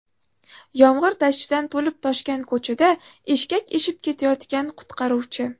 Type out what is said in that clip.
Yomg‘ir dastidan to‘lib toshgan ko‘chada eshkak eshib ketayotgan qutqaruvchi.